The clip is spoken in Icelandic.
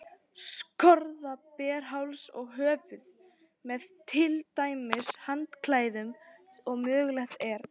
Skorða ber háls og höfuð, með til dæmis handklæðum, ef mögulegt er.